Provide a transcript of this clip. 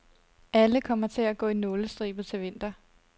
Alle kommer til at gå i nålestribet til vinter.